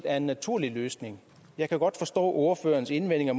er en naturlig løsning jeg kan godt forstå ordførerens indvendinger